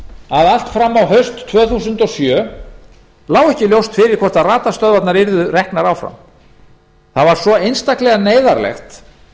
að allt fram á haust tvö þúsund og sjö lá ekki ljóst fyrir hvort radarstöðvarnar yrðu reknar áfram það var svo einstaklega neyðarlegt